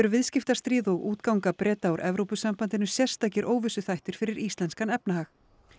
viðskiptastríð og útganga Breta úr Evrópusambandinu eru sérstakir óvissuþættir fyrir íslenskan efnahag